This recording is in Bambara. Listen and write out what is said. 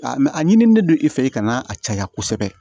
mɛ a ɲinilen don i fɛ i ka na a caya kosɛbɛ